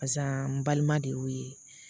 Barisa n balima de y'o ye